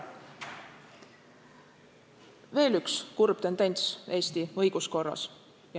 On veel üks kurb tendents Eesti õiguskorras.